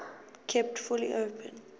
kept fully open